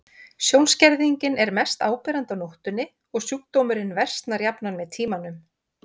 Sjónskerðingin er mest áberandi á nóttunni og sjúkdómurinn versnar jafnan með tímanum.